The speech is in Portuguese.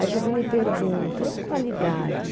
Aí você me pergunta, e a qualidade?